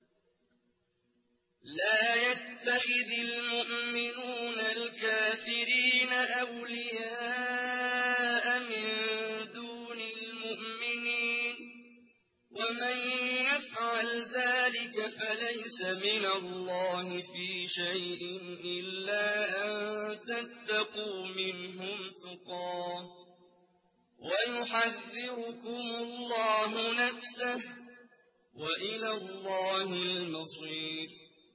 لَّا يَتَّخِذِ الْمُؤْمِنُونَ الْكَافِرِينَ أَوْلِيَاءَ مِن دُونِ الْمُؤْمِنِينَ ۖ وَمَن يَفْعَلْ ذَٰلِكَ فَلَيْسَ مِنَ اللَّهِ فِي شَيْءٍ إِلَّا أَن تَتَّقُوا مِنْهُمْ تُقَاةً ۗ وَيُحَذِّرُكُمُ اللَّهُ نَفْسَهُ ۗ وَإِلَى اللَّهِ الْمَصِيرُ